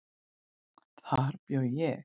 Þar bjó ég.